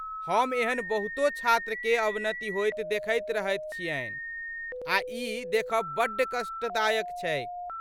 हम एहन बहुतो छात्रके अवनति होइत देखैत रहैत छियन्हि आ ई देखब बड्ड कष्टदायक छैक ।